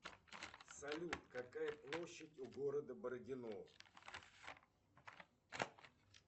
салют какая площадь у города бородино